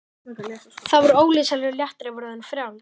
Það var ólýsanlegur léttir að vera orðin frjáls.